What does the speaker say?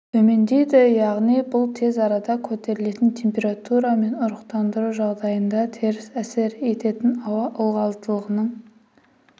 төмендейді яғни бұл тез арада көтерілетін температура мен ұрықтандыру жағдайында теріс әсер ететін ауа ылғалдылығының